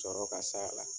Sɔrɔ ka s'a la